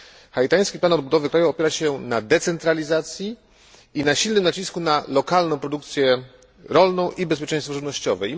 Haitański plan odbudowy kraju opiera się na decentralizacji i silnym nacisku na lokalną produkcję rolną i bezpieczeństwo żywnościowe.